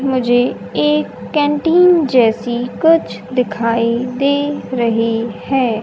मुझे एक कैंटीन जैसी कुछ दिखाई दे रही है।